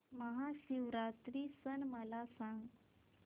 महाशिवरात्री सण मला सांग